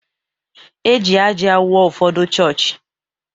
E ji ájá wuo ụfọdụ chọọchị.